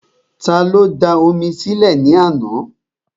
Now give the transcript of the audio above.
Ta ló da omi sí lẹ̀ ní àná?